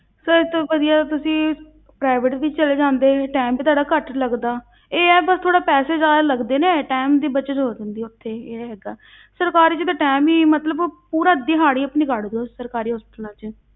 Sir ਇਹ ਤੋਂ ਵਧੀਆ ਤੁਸੀਂ private ਵਿੱਚ ਚਲੇ ਜਾਂਦੇ time ਵੀ ਤੁਹਾਡਾ ਘੱਟ ਲੱਗਦਾ ਇਹ ਆ ਬਸ ਥੋੜ੍ਹਾ ਪੈਸੇ ਜ਼ਿਆਦਾ ਲੱਗਦੇ ਨੇ time ਦੀ ਬੱਚਤ ਹੋ ਜਾਂਦੀ ਹੈ ਉੱਥੇ, ਇਹ ਹੈਗਾ ਸਰਕਾਰੀ ਵਿੱਚ ਤਾਂ time ਹੀ ਮਤਲਬ ਉਹ ਪੂਰਾ ਦਿਹਾੜੀ ਆਪਣੀ ਕੱਢ ਦਓ ਸਰਾਕਾਰੀ hospitals ਵਿੱਚ।